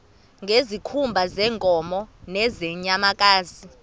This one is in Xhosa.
ngezikhumba zeenkomo nezeenyamakazi